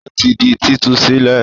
Ó ti di títú sílẹ̀?